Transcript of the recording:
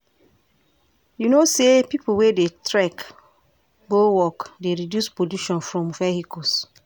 You know sey pipo wey dey trek go work dey reduce pollution from vehicles?